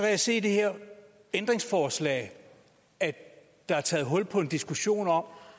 jeg se i det her ændringsforslag at der er taget hul på en diskussion om